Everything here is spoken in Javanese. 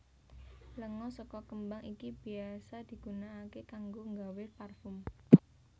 Lenga saka kembang iki bisa digunaaké kanggo nggawé parfum